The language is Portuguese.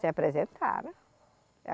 Se apresentaram.